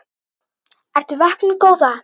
Ertu vöknuð góða?